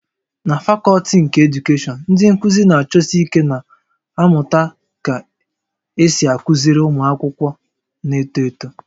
Na fakọlti nke Edukeshọn, ndị nkuzi na-achọsi ike na-amụta ka esi akụziri ụmụ akwụkwọ na-eto eto